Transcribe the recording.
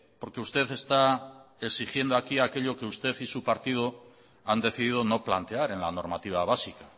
porque usted está exigiendo aquí aquello que usted y su partido han decidido no plantear en la normativa básica